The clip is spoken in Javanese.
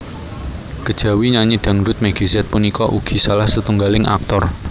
Kejawi nyanyi dhangdhut Meggy Z punika ugi salah setunggaling aktor